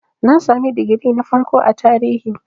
Na sami digiri na farko a Tarihi.